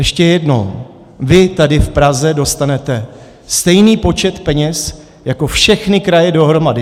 Ještě jednou: vy tady v Praze dostanete stejný počet peněz jako všechny kraje dohromady.